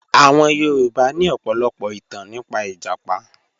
Àwọn Yorùbá ní ọ̀pọ̀lọpọ̀ ìtàn nípa ìjàpá